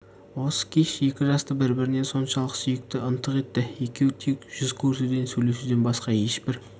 осы кеш екі жасты бір-біріне соншалық сүйікті ынтық етті екеуі тек жүз көрісуден сөйлесуден басқа ешбір